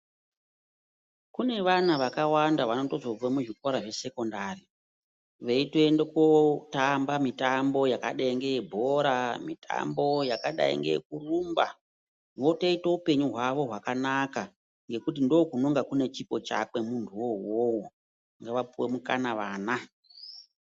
Kune vana vakawanda vanozobva muzvikora zvesekondari vei toenda kundotamba mitambo yakadai ngeyebhora mitambo yakadai neyekurumba votoita hupenyu hwavo hwakanaka ngekuti ndokunenge kune chipo chake muntuwo iwowo ngavapuwe mukana vana.